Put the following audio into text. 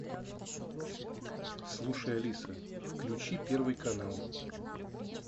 слушай алиса включи первый канал